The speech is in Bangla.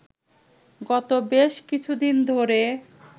গত বেশ কিছুদিন ধরে